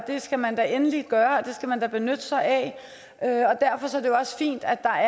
skal man da endelig gøre det skal man benytte sig af derfor er det jo også fint at der